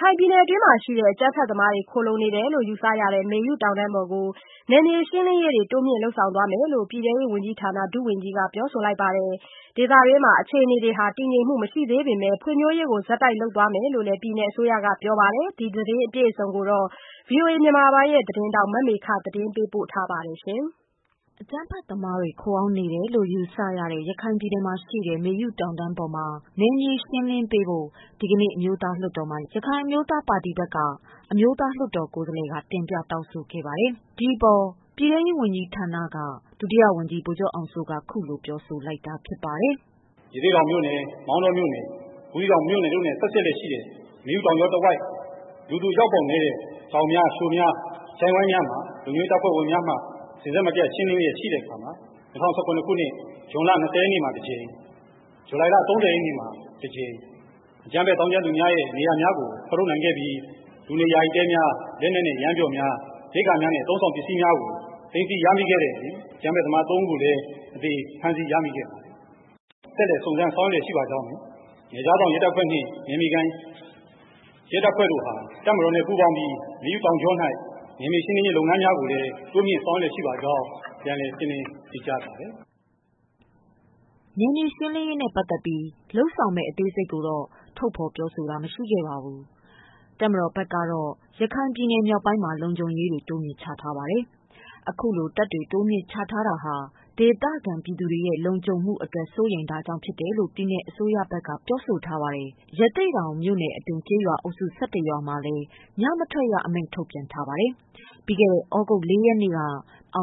ခိုင်ပြည်နယ်တွင်းရှိ အကြမ်းဖက်သမားတွေခိုလုံနေတယ်လို့ ယူဆရတဲ့ မေယုတောင် တန်းပေါ်ကို နယ်မြေရှင်းလင်းရေးတွေ တိုးမြင့်လုပ်ဆောင်သွားမယ်လို့ ပြည်တဲရေးဝန်ကြီး ဌာနကဒုဝန်ကြီးကပြောဆိုလိုက်ပါတယ်။ ဒေသတွင်းမှာ အခြေအနေတွေတည်ငြိမ်မှု မရှိသေးပေမယ့် ဖွံ့ဖြိုးရေးကိုဆက်တိုက်လုပ်သွားမယ်လို့ ပြည်နယ် အစိုးရကပြောပါ တယ်။ ဒီသတင်းအပြည့်အစုံကို ဗွီအိုအေသတင်းဌာ နကမေခကပြောပြမှာပါ။ အကြမ်းဖက်သမားတွေ ခိုအောင်းနေတယ်လို့ ယူဆရတဲ့ ရခိုင်ပြည်နယ်မှာရှိတဲ့ မေယုတောင်တန်း ပေါ်မှာ နယ်မြေရှင်းလင်းပေးဖို့ ဒီကနေ့ အမျိုးသားလွှတ်တော်မှာ ရခိုင်အမျိုးသား ပါတီက လွှတ်တော်ကိုယ်စားလှယ်က တင်ပြတောင်းဆိုခဲ့ပါတယ်။ ဒီအပေါ် ပြည်တဲရေး ဝန်ကြီး ဌာနက ဒုတိယဝန်ကြီး ဗိုလ်ချုပ်အောင်စိုးက ခုလိုပြောဆိုလိုက်တာပါ။ “ရသေ့တောင်မြို့နယ်၊ မောင်တောမြို့နယ်၊ ဘူးသီးတောင်မြို့နယ်တို့နှင့် ဆက်စပ်လျက်ရှိတဲ့ မေယုတောင်ကြောတဝိုက် လူသူအရောက်နည်းတဲ့ ချောင်များလျှိုများ ချိုင့်ဝှမ်းများမှာ လုံခြုံရေးတပ်ဖွဲ့ဝင်များက အဆက်မပျက် ရှင်းလင်းတဲ့အခါမှာ ၂၀၁၇ ခုနှစ် ဇွန်လ ၂၀ ရက်နေ့မှာ တကြိမ် ၊ ဇူလိုင်လ ၃၀ ရက်နေ့မှာ တကြိမ် ၊ အကြမ်းဖက်သောင်းကျန်းသူများရဲ့နေရာများကို ဖော်ထုတ်နိုင်ခဲ့ပြီး လူနေ ယာယီတဲများ၊ လက်နက်နဲ့ ယမ်းများ ၊ အသုံးအဆောင်ပစ္စည်းများကို သိမ်းဆည်းရမိခဲ့တဲ့အပြင် အကြမ်းဖက်သမား ၃ ဦးကိုလည်း အသေဖမ်းဆီးရမိခဲ့ပါတယ်။ ဆက်လက်စုံစမ်းဆောင်ရွက်လျက်ရှိပါကြောင်းနှင့် နယ်ခြားစောင့်ရဲတပ်ဖွဲ့နှင့် နယ်မြေခံရဲတပ်ဖွဲ့တို့ တပ်မတော်နဲ့ ပူးပေါင်းပြီး မေယုတောင်ကြောတွင် နယ်မြေရှင်းလင်းရေးလုပ်ငန်းကိုလည်း တိုးမြင့်ဆောင်ရွက်လျက်ရှိပါကြောင်း ပြန်လည်ရှင်းလင်းဖြေကြားအပ်ပါတယ်။” နယ်မြေရှင်းလင်းရေးနဲ့ပတ်သတ်ပြီး လုပ်ဆောင်မယ့် အသေးစိတ်ကိုတော့ ထုတ် ဖော်မပြောဆိုပါဘူး။ တပ်မတော်ဘက်ကတော့ ရခိုင်ပြည် နယ် မြောက်ပိုင်းမှာ လုံခြုံရေးတွေ တိုးမြှင့်ချထားပါတယ်။ အခုလို တပ်တွေ ထပ် တိုးပြိးချထားလိုက်တာဟာ ဒေသခံပြည်သူတွေရဲ့ လုံခြုံမှုအတွက် စိုးရိမ်တာကြောင့်ဖြစ်တယ်လို့ ပြည်နယ်အစိုးရ ဘက်ကပြောဆိုထားပါတယ်။ ရသေ့ တောင်မြို့နယ်အတွင်း ကျေးရွာအုပ်စု ၁၁ရွာမှာ လည်း ညမထွက်ရ အမိန့်ထုတ်ပြန် ထားပါ တယ်။ ပြီးခဲ့တဲ့ သြဂုတ်လ ၄ရက်နေ့က ဘင်္